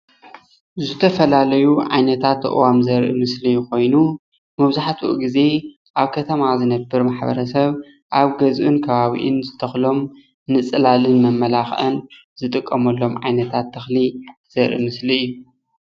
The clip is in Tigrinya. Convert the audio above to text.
ዝተፈላለዩ ዓይነታት ኣእዋም ዘርኢ ምስሊ ኮይኑ መብዛሕትኡ ግዜ ኣብ ከተማ ዝነብር ማሕበረ ሰብ ኣብ ገዝኡን ከባቢኡን ዝተክሎም ንፅላልን መመላኪዕን ዝጥቀመሎም ዓይነታት ተክሊ ዘርኢ ምስሊ እዩ፡፡